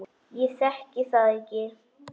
Ég þekki það ekki.